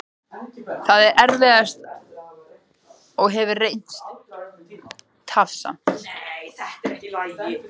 Það er erfiðast og hefur reynst tafsamt.